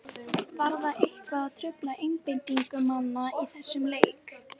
Var það eitthvað að trufla einbeitingu manna í þessum leik?